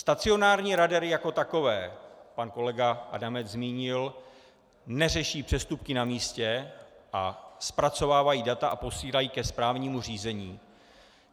Stacionární radary jako takové, pan kolega Adamec zmínil - neřeší přestupky na místě a zpracovávají data a posílají ke správnímu řízení.